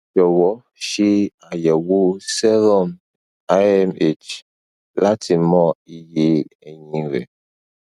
jọwọ ṣe ayẹwo serum amh lati mọ iye ẹyin rẹ